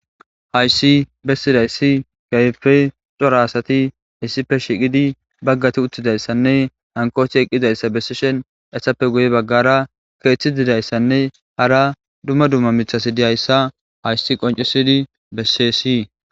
hayssi bessidayssi gaype xora asati hissife shiqidi baggati uttidayssanne hankoothi eqqizayssa bessishen essappe guye baggara keeththi didayssanne hara dumma dumma mithasi dihayssa hayssi qoncisidi bessi si